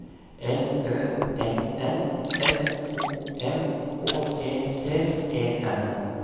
L Ø N N S O M H E T E N